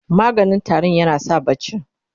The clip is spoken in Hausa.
maganin tarinya na sa barci